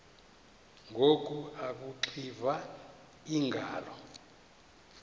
ngoku akuxiva iingalo